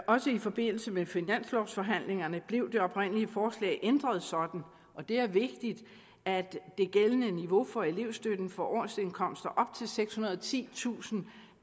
også i forbindelse med finanslovforhandlingerne blev det oprindelige forslag ændret sådan og det er vigtigt at det gældende niveau for elevstøtten for årsindkomster op til sekshundrede og titusind